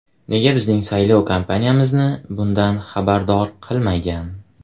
Nega bizning saylov kampaniyamizni bundan xabardor qilmagan?